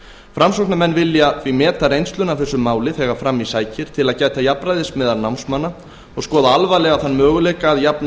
framsóknarmenn vilja því meta reynsluna af þessu máli þegar fram í sækir til að gæta jafnræðis meðal námsmanna og skoða alvarlega þann möguleika að jafna